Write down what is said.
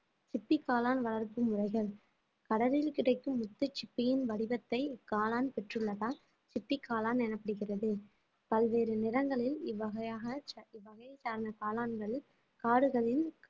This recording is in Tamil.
சிப்பி காளான் வளர்ப்பு முறைகள் கடலில் கிடைக்கும் முத்து சிப்பியின் வடிவத்தை காளான் பெற்றுள்ளதால் சிப்பி காளான் எனப்படுகிறது பல்வேறு நிறங்களில் இவ்வகையாக சா~ இவ்வகையை சார்ந்த காளான்கள் காடுகளில்